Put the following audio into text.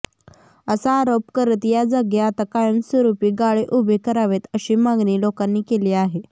असा आरोप करत या जागी आता कायमस्वरूपी गाळे उभे करावेत अशी मागणी लोकांनी केली आहे